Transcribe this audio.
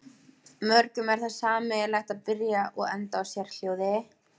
mörgum er það sameiginlegt að byrja og enda á sérhljóði